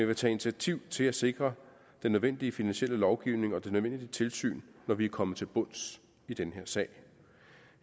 vil tage initiativ til at sikre den nødvendige finansielle lovgivning og det nødvendige tilsyn når vi er kommet til bunds i den her sag